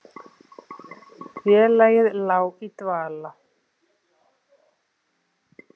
Félagið lá í dvala